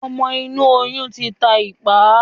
ọmọ inú oyun tí tá ipá.